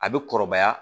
A bɛ kɔrɔbaya